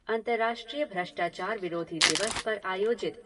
अंतर्राष्ट्रीय भष्ट्राचार विरोधी दिवस पर आयोजित